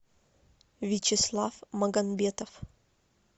вячеслав магомбетов